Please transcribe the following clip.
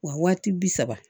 Wa waati bi saba